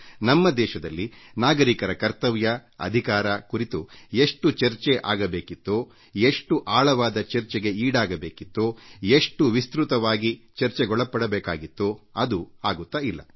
ಆದರೆ ಇಂದಿಗೂ ನಮ್ಮ ದೇಶದಲ್ಲಿ ನಾಗರಿಕರ ಕರ್ತವ್ಯ ಹಕ್ಕುಗಳ ಕುರಿತಂತೆ ಎಷ್ಟು ವ್ಯಾಪಕವಾಗಿ ಮತ್ತು ಆಳವಾಗಿ ಚರ್ಚೆ ಆಗಬೇಕಿತ್ತೋ ಎಷ್ಟು ವಿಸ್ತೃತವಾಗಿ ಚರ್ಚೆಗಳು ಆಗಿಲ್ಲ